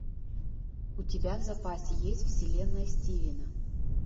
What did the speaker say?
у тебя в запасе есть вселенная стивена